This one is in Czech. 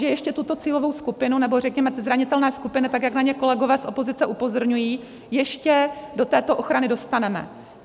Že ještě tuto cílovou skupinu, nebo řekněme ty zranitelné skupiny, tak jak na ně kolegové z opozice upozorňují, ještě do této ochrany dostaneme.